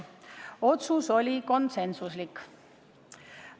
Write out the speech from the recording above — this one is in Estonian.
Otsus oli konsensuslik.